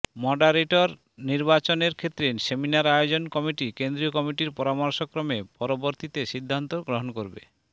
moderator নির্বাচনের ক্ষেত্রে seminar আয়োজন কমিটি কেন্দ্রীয় কমিটির পরামর্শক্রমে পরবর্তীতে সিদ্ধান্ত গ্রহণ করবে